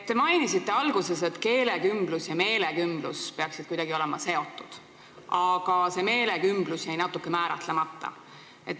Te mainisite alguses, et keelekümblus ja meelekümblus peaksid olema kuidagi seotud, kuid see meelekümblus jäi natuke määratlemata.